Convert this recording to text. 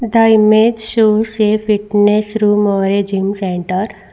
The image shows a fitness room or a gym centre.